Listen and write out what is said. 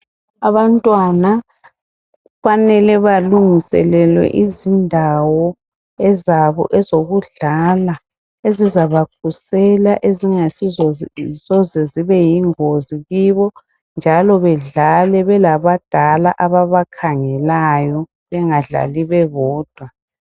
Abantwana kufanele balungiselelwe izindawo ezabo ezokudlala, ezizabakhusela, ezingasoze zibe yingozi kibo, njalo bedlale belabadala ababakhangelayo. Bengadlali bebodwa.